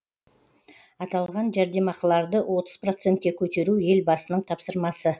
аталған жәрдемақыларды отыз процентке көтеру елбасының тапсырмасы